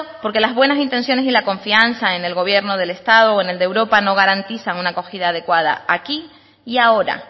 porque las buenas intensiones y la confianza en el gobierno del estado o en el de europa no garantizan una acogida adecuada aquí y ahora